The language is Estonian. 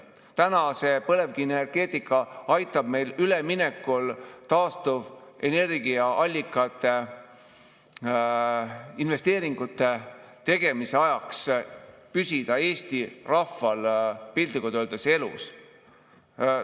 Täna see põlevkivienergeetika aitab meid üleminekul taastuvenergiaallikatele, aitab Eesti rahval nende investeeringute tegemise ajal piltlikult öeldes elus püsida.